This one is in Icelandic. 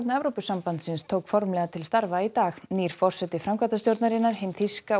Evrópusambandsins tók formlega til starfa í dag nýr forseti framkvæmdastjórnar hin þýska